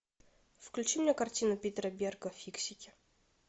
включи мне картину питера берга фиксики